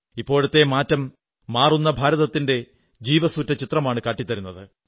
ഇപ്പോഴത്തെ മാറ്റം മാറുന്ന ഭാരതത്തിന്റെ ജീവസ്സുറ്റ ചിത്രമാണ് കാട്ടിത്തരുന്നത്